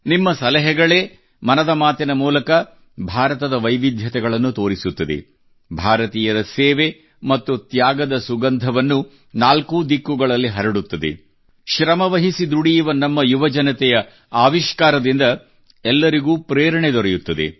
ನಿಮ್ಮ ಸಲಹೆಗಳೇ ಮನದ ಮಾತಿನ ಮೂಲಕ ಭಾರತದ ವೈವಿಧ್ಯತೆಗಳನ್ನು ತೋರಿಸುತ್ತದೆ ಭಾರತೀಯರ ಸೇವೆ ಮತ್ತು ತ್ಯಾಗದ ಸುಗುಂಧವನ್ನು ನಾಲ್ಕೂ ದಿಕ್ಕುಗಳಲ್ಲಿ ಹರಡುತ್ತದೆ ಶ್ರಮವಹಿಸಿ ದುಡಿಯುವ ನಮ್ಮ ಯುವಜನತೆಯ ಆವಿಷ್ಕಾರದಿಂದ ಎಲ್ಲರಿಗೂ ಪ್ರೇರಣೆ ದೊರೆಯುತ್ತದೆ